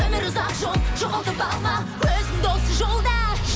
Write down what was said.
өмір ұзақ жол жоғалтып алма өзіңді осы жолда